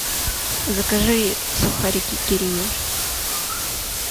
закажи сухарики кириешки